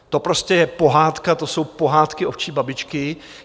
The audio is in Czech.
To prostě je pohádka, to jsou pohádky ovčí babičky.